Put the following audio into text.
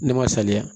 Ne ma saliya